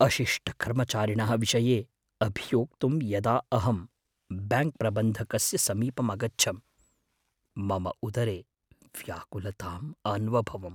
अशिष्टकर्मचारिणः विषये अभियोक्तुं यदा अहं ब्याङ्क्प्रबन्धकस्य समीपम् अगच्छं, मम उदरे व्याकुलताम् अन्वभवम्।